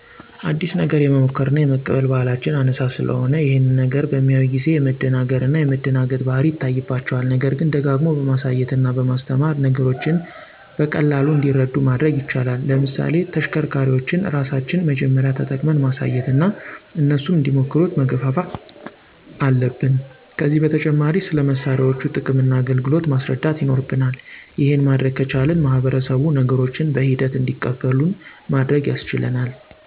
አዲስ ነገር የመሞከር እና የመቀበል ባህላችን አናሳ ስለሆነ ይሄን ነገር በሚያዩ ጊዜ የመደናገር እና የመደንገጥ ባህሪ ይታይባቸዋል። ነገርግን ደጋግሞ በማሳየት እና በማስተማር ነገሮችን በቀላሉ እንዲረዱ ማድረግ ይቻላል። ለምሳሌ ተሽከርካሪዎችን ራሳችን መጀመርያ ተጠቅመን ማሳየት እና እነሱም እንዲሞክሩት መገፋፋት አለብን። ከዚህ በተጨማሪ ስለ መሳሪያዎቹ ጥቅም እና አገልግሎት ማስረዳት ይኖርብናል። ይሄን ማድረግ ከቻልን ማህበረሰቡ ነገሮችን በሂደት እንዲቀበሉን ማድረግ ያስችለናል።